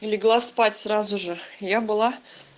легла спать сразу же я была